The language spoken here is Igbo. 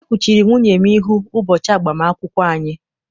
E kwuchiri nwunye m ihu ụbọchị agbam akwụkwọ anyị.